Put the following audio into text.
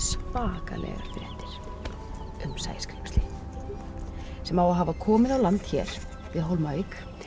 svakalegar fréttir um sæskrímsli sem á að hafa komið á land hér við Hólmavík